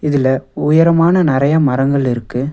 இதுல உயரமான நெறைய மரங்கள் இருக்கு.